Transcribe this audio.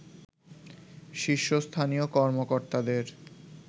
শীর্ষস্থানীয় কর্মকর্তাদের